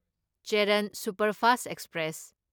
Cheran superfast express